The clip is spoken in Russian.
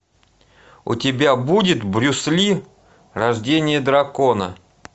у тебя будет брюс ли рождение дракона